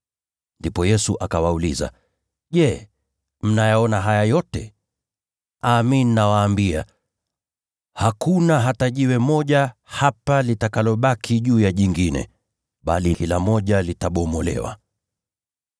Ndipo Yesu akawauliza, “Je, mnayaona haya yote? Amin, nawaambia, hakuna hata jiwe moja hapa litakalobaki juu ya jingine, bali kila moja litabomolewa.”